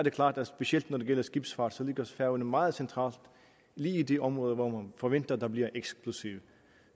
er klart at specielt når det gælder skibsfart ligger færøerne meget centralt lige i det område hvor man forventer at der bliver eksplosiv